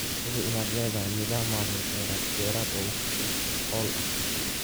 Hubi inaad leedahay nidaam maamul kheyraad beereed oo wax ku ool ah.